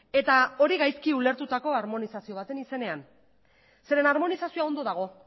eta hori gaizki ulertutako harmonizazio baten izenean zeren eta harmonizazioa ondo dago